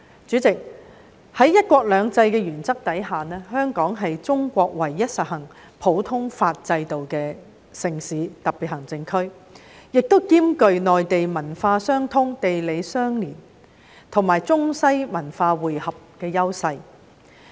主席，在"一國兩制"的原則下，香港是中國唯一實行普通法制度的城市和特別行政區，亦兼具與內地文化相通、地理相鄰，以及中西文化匯合的優勢。